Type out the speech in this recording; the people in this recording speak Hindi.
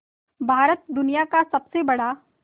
भारत दुनिया का सबसे बड़ा